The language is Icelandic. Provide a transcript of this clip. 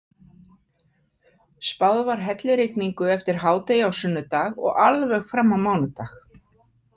Spáð var hellirigningu eftir hádegi á sunnudag og alveg fram á mánudag.